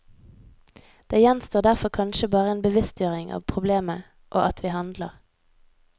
Det gjenstår derfor kanskje bare en bevisstgjøring av problemet og at vi handler.